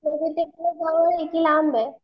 जवळ ये की लांब ये.